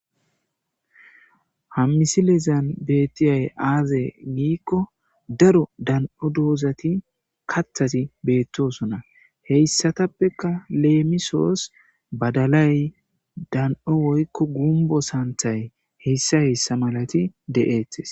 Ha missilezan bettizay azee gikko daro dan7o doozati kathhthati beetosona. hesatappeka lemisos badalay dan7o woyko gungo sanththany hesa hesa malati de7ettes.